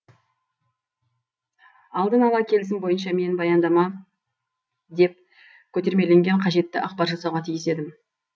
алдынала келісім бойынша мен баяндама деп көтермеленген қажетті ақпар жасауға тиіс едім